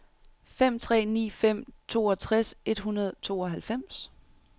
fem tre ni fem toogtres et hundrede og tooghalvfems